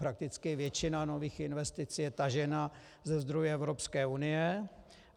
Prakticky většina nových investic je tažena ze zdrojů Evropské unie.